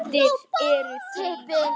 Eftir eru þrír.